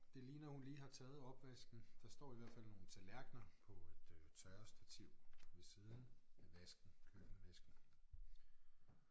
Det ligner hun lige har taget opvasken der står i hvert fald nogle tallerkener på et øh tørrestativ ved siden af vasken køkkenvasken